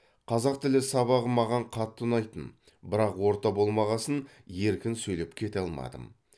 қазақ тілі сабағы маған қатты ұнайтын бірақ орта болмағасын еркін сөйлеп кете алмадым